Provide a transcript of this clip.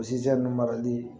O sisijun marali